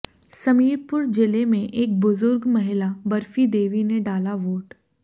समीरपुर जिले में एक बुजुर्ग महिला बर्फी देवी ने डाला वोट